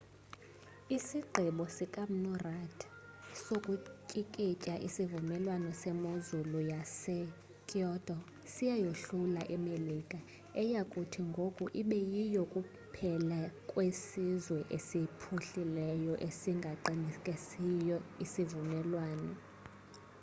isigqibo sika mnu rudd sokutyikitya isivumelwano semozulu yasekyoto siyayohlula imelika eya kuthi ngoku ibe yiyo kuphela kwesizwe esiphuhlileyo esingasiqinisekisiyo isivumelwano